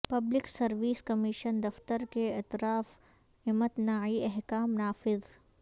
public service commission دفتر کے اطراف امتناعی احکام نافذ